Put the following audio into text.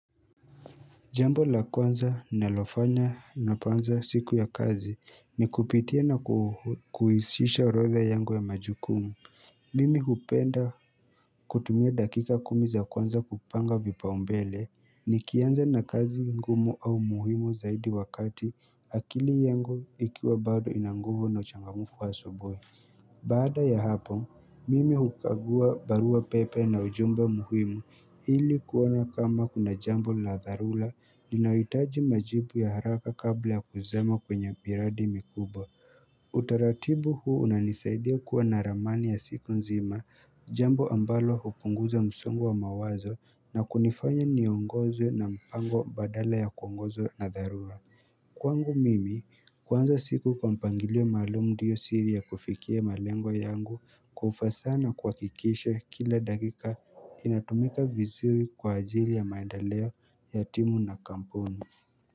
Jambo la kwanza ninalofanya ninapoanza siku ya kazi ni kupitia na kuhisisha orodha yangu ya majukumu. Mimi hupenda kutumia dakika kumi za kwanza kupanga vipaumbele nikianza na kazi ngumu au muhimu zaidi wakati akili yangu ikiwa bado inanguvu na uchangamfu wa asubuhii. Baada ya hapo, mimi hukagua baruapepe na ujumbe muhimu ili kuona kama kuna jambo na dharura linayohitaji majibu ya haraka kabla ya kuzama kwenye miradi mikubwa Utaratibu huu unanisaidia kuwa na ramani ya siku nzima jambo ambalo hupunguza msongo wa mawazo na kunifanya niongozwe na mpango badala ya kuongozwa na dharura Kwangu mimi kuanza siku kwa mpangilio maalum ndio siri ya kufikia malengo yangu kwa ufasaha kuhakikisha kila dakika inatumika vizuri kwa ajili ya maendeleo ya timu na kampuni.